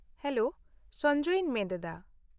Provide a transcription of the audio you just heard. -Hello, ᱥᱚᱧᱡᱚᱭᱤᱧ ᱢᱮᱱᱮᱫᱼᱟ ᱾